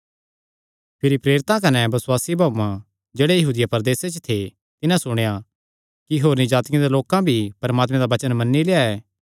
भिरी प्रेरितां कने बसुआसी भाऊआं जेह्ड़ा यहूदिया प्रदेसे च थे तिन्हां सुणेया कि होरनी जातिआं दे लोकां भी परमात्मे दा वचन मन्नी लेआ ऐ